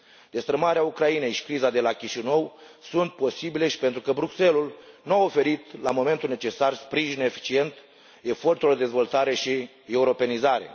Destrămarea Ucrainei și criza de la Chișinău sunt posibile și pentru că Bruxelles ul nu oferit, la momentul necesar, sprijin eficient eforturilor de dezvoltare și europenizare.